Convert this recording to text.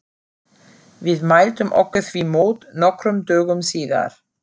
Við mæltum okkur því mót nokkrum dögum síðar.